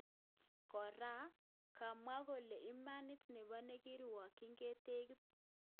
Kora, kamwa kole imanit nebo nekirwokyin ketekis.